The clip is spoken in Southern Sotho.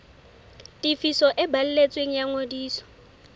tefiso e balletsweng ya ngodiso